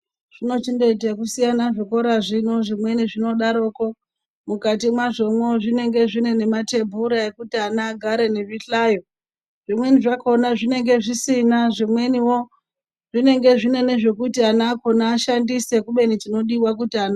Zvinochiita okusiyana zvikora zvino zvinochiita ekudaroko mukati mwazvo mwo zvinenge zvine nematebhura ekuti ana agare wo nezvihlayo zvimweni zvakona zvinenge zvisina zvimweni zvakona zvinenga zvine zvekuti ana acho ashandise kubeni chinodiwa kuti ana.